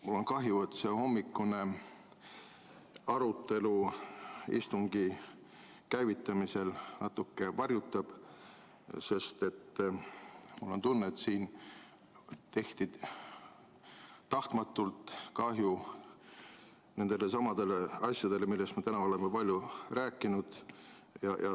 Mul on kahju, et see hommikune arutelu istungi käivitamisel seda natuke varjutab, sest mul on tunne, et siin tehti tahtmatult kahju nendelesamadele asjadele, millest me täna oleme palju rääkinud.